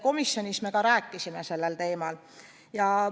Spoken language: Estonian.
Komisjonis me rääkisime ka sel teemal.